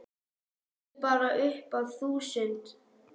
Teldu bara upp að þúsund.